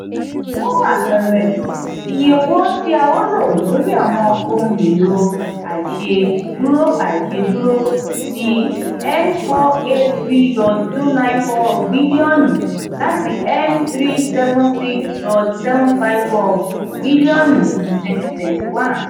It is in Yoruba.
fun apẹẹrẹ iye ti a lo lori awọn ohun elo aise duro aise duro ni n four eight three point two nine four bilionu lati n three seven six dot seven five four bilionu ni twenty twenty one.